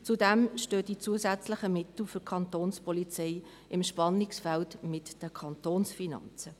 Zudem stehen die zusätzlichen Mittel für die Kantonspolizei im Spannungsfeld mit den Kantonsfinanzen.